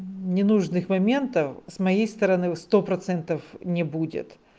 ненужных моментов с моей стороны сто процентов не будет